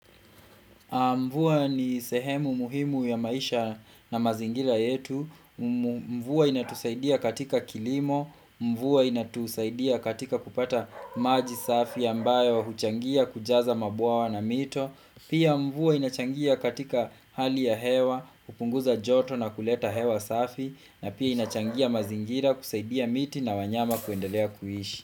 Mvua ni sehemu muhimu ya maisha na mazingira yetu. Mvua inatusaidia katika kilimo. Mvua inatusaidia katika kupata maji safi ambayo huchangia kujaza mabwawa na mito. Pia mvua inachangia katika hali ya hewa, kupunguza joto na kuleta hewa safi. Na pia inachangia mazingira kusaidia miti na wanyama kuendelea kuishi.